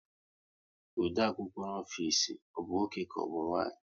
Ode akwụkwọ ofisi ọ bụ nwoke ka ọbụ nwanyị?